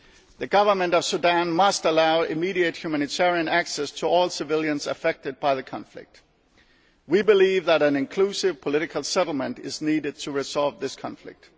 The Government of Sudan must allow immediate humanitarian access to all civilians affected by the conflict. We believe that an inclusive political settlement is needed to resolve this conflict.